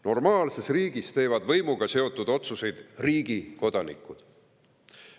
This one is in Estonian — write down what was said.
Normaalses riigis teevad võimuga seotud otsuseid riigi kodanikud.